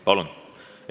Palun!